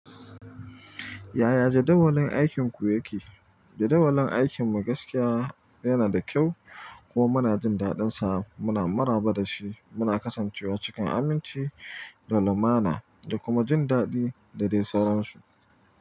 Yaya jadawalin aikinku yake? Jadawalin aikin mu gaskiya yana da kyau, kuma muna jin daɗinsa. Muna maraba da shi, muna kasancewa cikin aminci da lumana da kuma jin daɗi da dai sauran su.